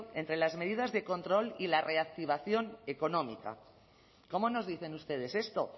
entre las medidas de control y la reactivación económica cómo nos dicen ustedes esto